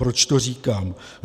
Proč to říkám?